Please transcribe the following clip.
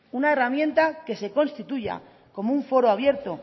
una herramienta que se constituya como un foro abierto